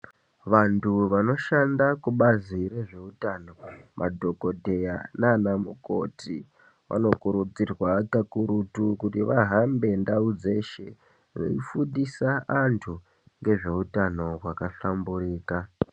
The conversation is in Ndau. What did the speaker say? Vantu vanoshanda kubazi rezveutano madhokodheya naanamukoti vanokurudzirwa kakurutu kuti vahambe ndau dzeshe veifundisa antu ngezveutano zvakahlamburika.